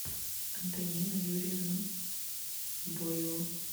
антонину юрьевну боеву